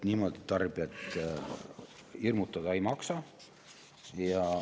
Niimoodi tarbijat hirmutada ei maksa.